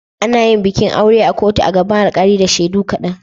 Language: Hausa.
Ana yin bikin aure a kotu a gaban alkali da shaidu kaɗan.